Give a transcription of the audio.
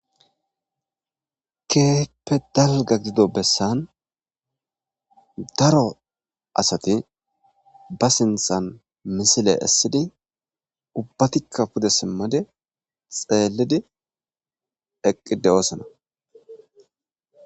Keehippe dalga gidodo bessan daro asati ba sinthan misile essidi ubbatikka pude simmade xeelidi eqqidi doosana